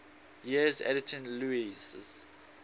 years editing lewes's